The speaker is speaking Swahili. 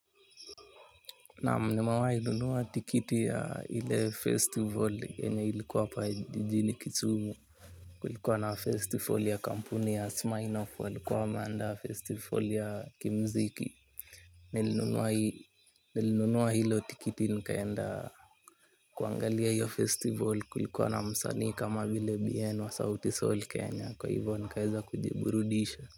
Naam nimawahi nunua tikiti ya ile festival yenye ilikuwa hapa jijini kisumu. Kulikuwa na festival ya kampuni ya Smirnoff walikuwa wameandaa festival ya kimziki nilinunua. Nilinunua hilo tikiti nikaenda kuangalia hiyo festival kulikuwa na msanii kama vile bien wa sauti sol kenya kwa hivyo nikaeza kujiburudisha.